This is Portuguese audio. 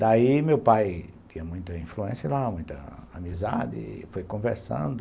Daí meu pai tinha muita influência lá, muita amizade, foi conversando.